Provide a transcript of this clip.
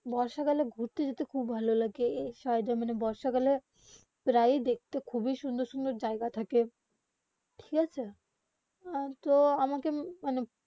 বর্ষাকালে ঘুরতে যেতে খুব ভালো লাগে এই সাইড মানে বর্ষাকালে প্রায় দেখতে খুবই সুন্দর সুন্দর জায়গা থাকে ঠিক আছে আর আমাকে মানে